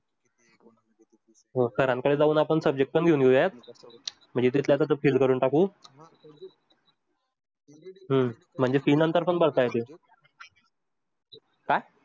Sir कडे जाऊन आपण subject पण घेउया करून fees टाकू हम्म fees पण नंतर भरता येते.